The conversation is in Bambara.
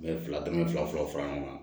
N bɛ fila dama fɔlɔ fara ɲɔgɔn kan